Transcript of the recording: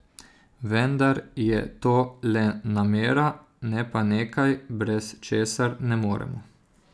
Vendar je to le namera, ne pa nekaj, brez česar ne moremo.